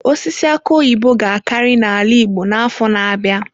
Osisi aki oyibo ga-akarị n'ala igbo n'afọ na-abịa.